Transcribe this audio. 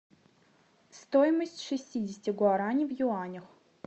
стоимость шестидесяти гуарани в юанях